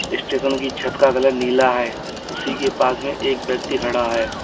Station की छत का कलर नीला है उसी के पास में एक व्यक्ति खड़ा है।